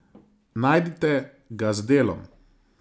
Najdite ga z Delom.